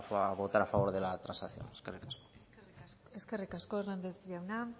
a votar a favor de la transacción eskerrik asko eskerrik asko hernández jauna